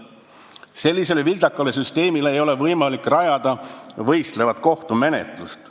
Sellisele vildakale süsteemile ei ole võimalik rajada võistlevat kohtumenetlust.